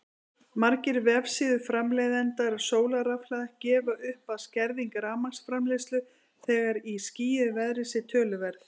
Margir vefsíður framleiðenda sólarrafhlaða gefa upp að skerðing rafmagnsframleiðslu þegar í skýjuðu veðri sé töluverð.